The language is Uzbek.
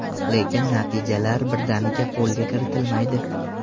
Lekin, natijalar birdaniga qo‘lga kiritilmaydi.